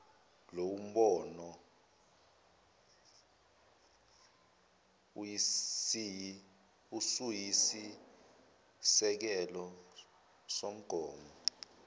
lowombono usuyisisekelo somgomo